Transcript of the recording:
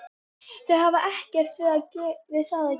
Þau hafa ekkert við það að gera